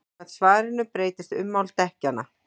samkvæmt svarinu breytist ummál dekkjanna